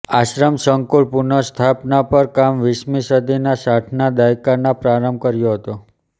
આશ્રમ સંકુલ પુનસ્થાપના પર કામ વીસમી સદીના સાઠના દાયકાના પ્રારંભ કર્યો હતો